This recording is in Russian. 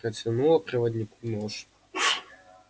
протянула проводнику нож